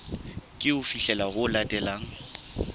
ke ho fihlela ho latelang